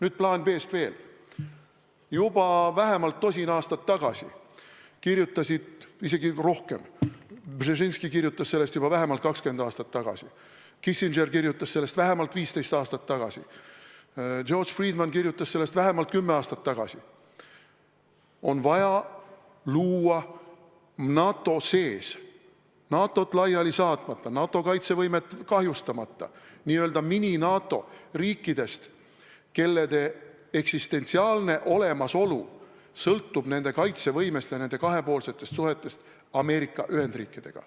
Veel plaanist B. Juba vähemalt tosin aastat tagasi kirjutati – isegi rohkem, Brzezinski kirjutas sellest vähemalt 20 aastat tagasi, Kissinger kirjutas sellest vähemalt 15 aastat tagasi, George Friedman kirjutas sellest vähemalt kümme aastat tagasi –, et on vaja luua NATO sees, NATO-t laiali saatmata ja NATO kaitsevõimet kahjustamata n-ö mini-NATO riikidest, kelle eksistentsiaalne olemasolu sõltub nende kaitsevõimest ja nende kahepoolsetest suhetest Ameerika Ühendriikidega.